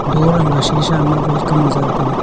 dor anku shisa ma welcome ley za ley taile.